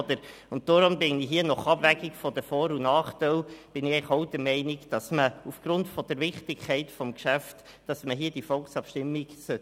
Deshalb bin ich nach Abwägung der Vor- und Nachteile eigentlich auch der Meinung, dass man aufgrund der Wichtigkeit des Geschäfts eine Volksabstimmung durchführen sollte.